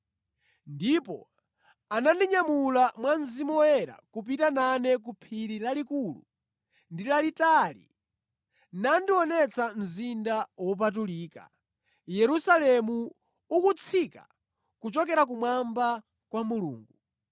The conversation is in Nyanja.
Ndipo anandinyamula mwa Mzimu Woyera kupita nane ku phiri lalikulu ndi lalitali nandionetsa mzinda wopatulika, Yerusalemu ukutsika kuchokera kumwamba kwa Mulungu.